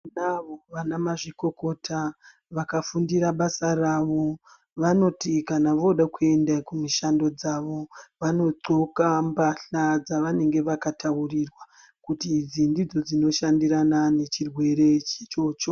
Tinavo vana mazvikokota vakafundira basa ravo. Vanoti kana vode kuende kumishando dzavo vanodhloka mbahla dzavanenge vakataurirwa kuti idzi ndidzo dzinoshandirana nechirwere ichocho.